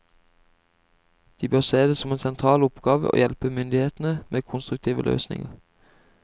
De bør se det som en sentral oppgave å hjelpe myndighetene med konstruktive løsninger.